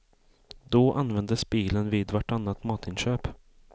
Då användes bilen vid vartannat matinköp.